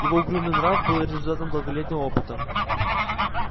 его угрюмый нрав был результатом долголетнего опыта